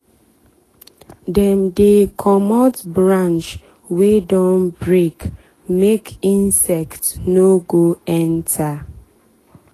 dem dey comot branch wey don break make insect no go enter.